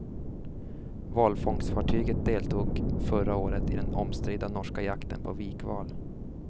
Valfångstfartyget deltog förra året i den omstridda norska jakten på vikval.